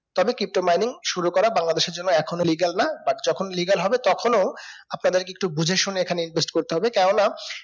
তবে pto mining শুরু করা বাংলাদেশের জন্য এখনো legal না বা যখন legal হবে তখনো আপনাদের কে একটু বুঝেশুনে এখানে invest করতে হবে কেন না